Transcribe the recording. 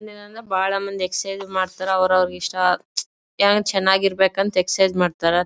ಬಹಳ್ ಮಂದಿ ಎಕ್ಸರ್ಸೈಜ್ ಮಾಡತರೇ ಅವ್ರ ಅವ್ರ ಇಷ್ಟ ಏನೋ ಚನ್ನಾಗಿರಬೇಕ ಅಂತ ಎಕ್ಸರ್ಸೈಜ್ ಮಾಡತರ.